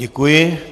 Děkuji.